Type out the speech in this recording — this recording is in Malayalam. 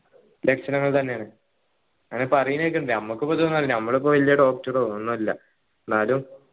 ലക്ഷണങ്ങൾ തന്നെയാണ് അങ്ങനെ പറീണ കേക്കിനിണ്ട് ഞമ്മക് ഇപ്പൊ ഇതൊന്നു അറീല്ലല്ലോ ഞമ്മള് ഇപ്പൊ വെല്യ doctor ഓ ഒന്നല്ല എന്നാലും